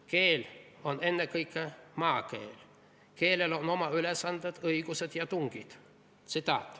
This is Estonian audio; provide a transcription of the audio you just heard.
Keel on ennekõike maakeel, keelel on oma ülesanded, õigused ja tungid.